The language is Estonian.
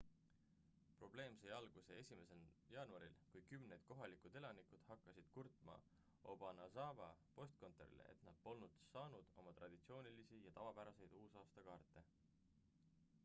probleem sai alguse 1 jaanuaril kui kümned kohalikud elanikud hakkasid kurtma obanazawa postkontorile et nad polnud saanud oma traditsioonilisi ja tavapäraseid uusaastakaarte